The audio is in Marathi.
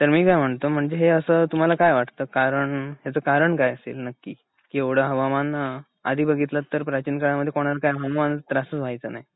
तर मी काय म्हणतो हे असं तुम्हाला काय वाटत कारण ह्याच कारण काय असेल नक्की एव्हडं हवामान आधी बघितलं तर प्राचीन काळामध्ये कोणाला काही हवामानाचा त्रासच व्हायचा नाही.